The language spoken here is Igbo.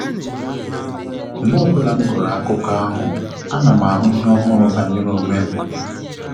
Mgbe ọbụla m gụrụ akụkọ ahụ, a na m ahu ihe ọhụrụ banyere onwem